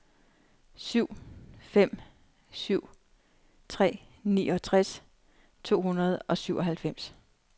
syv fem syv tre niogtres to hundrede og syvoghalvfems